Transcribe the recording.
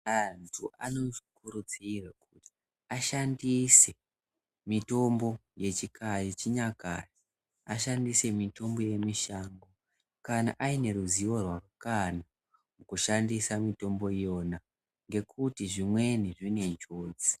Antu anokurudzirwa ashandise mitombo yechinyakare, ashandise mitombo yemushango kana aine ruzivo rwakakwana kushandisa mitombo iyona ngekuti zvimweni zvine njodzi.